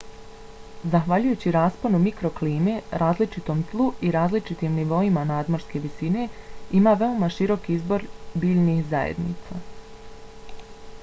zahvaljujući rasponu mikroklime različitom tlu i različitim nivoima nadmorske visine ima veoma širok izbor biljnih zajednica